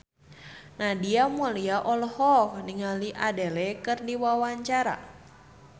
Nadia Mulya olohok ningali Adele keur diwawancara